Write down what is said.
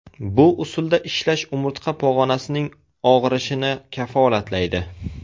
Bu usulda ishlash umurtqa pog‘onasinining og‘rishini kafolatlaydi.